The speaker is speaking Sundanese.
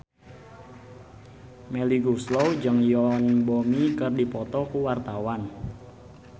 Melly Goeslaw jeung Yoon Bomi keur dipoto ku wartawan